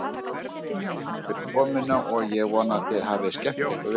Takk fyrir komuna og ég vona að þið hafið skemmt ykkur vel.